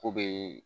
K'o bee